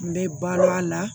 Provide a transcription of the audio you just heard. N bɛ bal'a la